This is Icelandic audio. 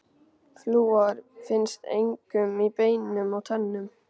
Flúor finnst einkum í beinum og tönnum.